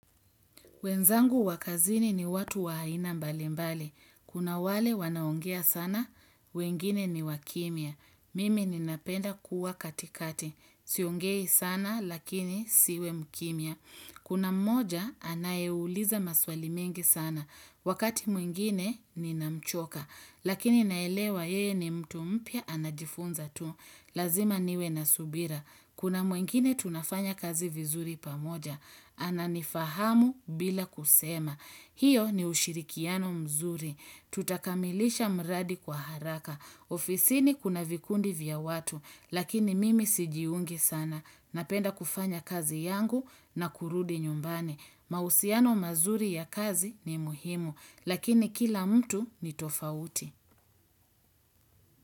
Wenzangu wa kazini ni watu wa aina mbali mbali. Kuna wale wanaongea sana, wengine ni wa kimya. Mimi ninapenda kuwa katikati. Siongei sana lakini siwe mkimia. Kuna mmoja anayeuliza maswali mengi sana. Wakati mwingine ni namchoka. Lakini naelewa yeye ni mtu mpya anajifunza tu. Lazima niwe na subira. Kuna mwingine tunafanya kazi vizuri pamoja. Ananifahamu bila kusema. Hiyo ni ushirikiano mzuri. Tutakamilisha mradi kwa haraka. Ofisini kuna vikundi vya watu, lakini mimi sijiungi sana. Napenda kufanya kazi yangu na kurudi nyumbani. Mahusiano mazuri ya kazi ni muhimu, lakini kila mtu ni tofauti.